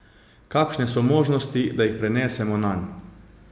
Kakšne so možnosti, da jih prenesemo nanj?